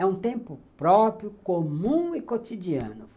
É um tempo próprio, comum e cotidiano.